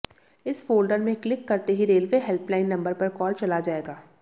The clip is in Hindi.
इस फोल्डर में क्लिक करते ही रेलवे हेल्पलाइन नंबर पर कॉल चला जाएगा